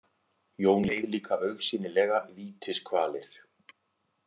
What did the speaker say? Jón leið líka augsýnilega vítiskvalir.